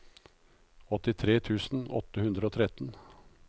åttitre tusen åtte hundre og tretten